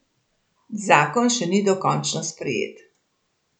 Zakon še ni dokončno sprejet.